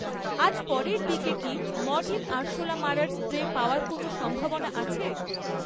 আজ পরের দিকে কি মরটিন আরশোলা মারার স্প্রে পাওয়ার কোনও সম্ভাবনা আছে?